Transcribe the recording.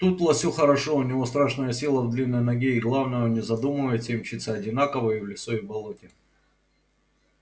тут лосю хорошо у него страшная сила в длинной ноге и главное он не задумывается и мчится одинаково и в лесу и в болоте